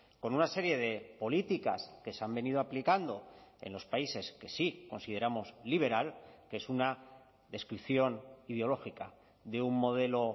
con una serie de políticas que se han venido aplicando en los países que sí consideramos liberal que es una descripción ideológica de un modelo